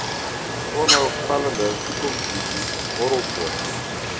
onheilspellende toekomsvisies horrelpoot